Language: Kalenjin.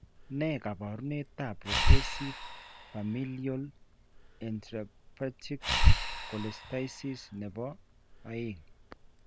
Ne kaabarunetap Progressive Familial Intrahepatic Cholestasis ne po 2?